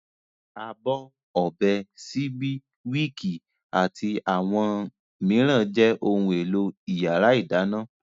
Abọ́, ọ̀bẹ, síbí, wííkì àti àwọn mìíràn jẹ́ ohun-èlò ìyàrá-ìdáná.